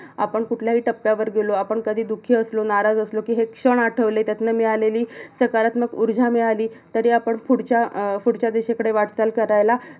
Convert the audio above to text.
आपण कुठल्याही टप्प्यावर गेलो, आपण कधी दुखी असलो, नाराज असलो कि हे क्षण आठवले त्यातन मिळालेली सकारत्मक उर्जा मिळाली तरी आपण फुडच्या फुडच्या दिशेकडे वाटचाल करायला